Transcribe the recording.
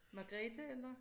Magrethe eller?